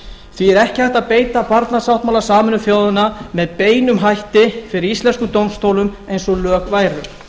því er ekki hægt að beita barnasáttmála sameinuðu þjóðanna með beinum hætti fyrir íslenskum dómstólum eins og lög væru